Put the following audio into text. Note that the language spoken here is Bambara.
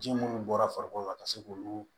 Ji munnu bɔra farikolo la ka se k'olu